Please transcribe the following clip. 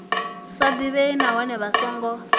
sa ḓivhei nahone vha songo